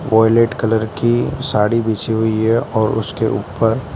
violet colour की साड़ी बिछी हुई है और उसके ऊपर--